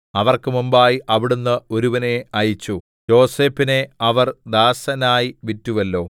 അവർക്ക് മുമ്പായി അവിടുന്ന് ഒരുവനെ അയച്ചു യോസേഫിനെ അവർ ദാസനായി വിറ്റുവല്ലോ